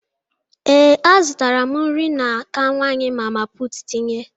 Ee, azụtara m nri n'aka nwanyị mama putu tinye.